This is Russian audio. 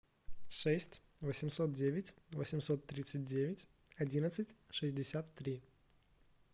шесть восемьсот девять восемьсот тридцать девять одиннадцать шестьдесят три